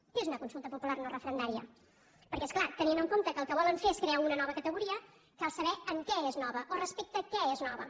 què és una consulta popular no referendària perquè és clar tenint en compte que el que volen fer és crear una nova categoria cal saber en què és nova o respecte a què és nova